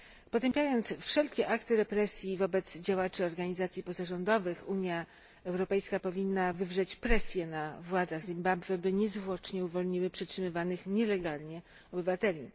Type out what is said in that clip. Potępiając wszelkie akty represji wobec działaczy organizacji pozarządowych, Unia Europejska powinna wywrzeć presję na władzach Zimbabwe, by niezwłocznie uwolniły przetrzymywanych nielegalnie obywateli.